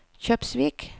Kjøpsvik